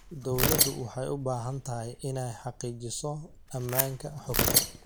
Dawladdu waxay u baahan tahay inay xaqiijiso ammaanka xogta.